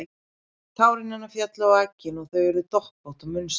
Tár hennar féllu á eggin og þau urðu doppótt og mynstruð.